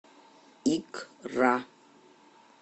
икра